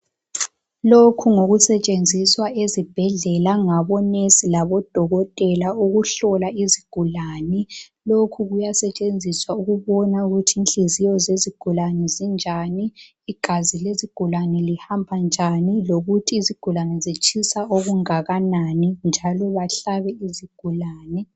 Lokhu ngokusetshenziswa ezibhedlela ngabonesi labodokotela ukuhlola izigulane. Lokhu kuyasetshenziswa ukubona ukuthi inhliziyo zezigulane zinjani, igazi lezigulane lihamba njani, lokuthi izigulane zitshisa okungakanani, njalo bahlabe izigulane.